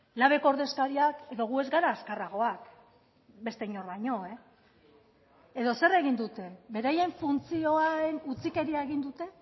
labeko ordezkariak edo gu ez gara azkarragoak beste inor baino e edo zer egin dute beraien funtzioen utzikeria egin dute